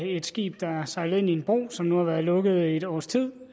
et skib der sejlede ind i en bro som nu har været lukket i et års tid